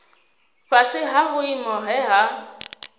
fhasi ha vhuimo he ha